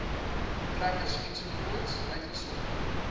trekkers ens uitgesonderd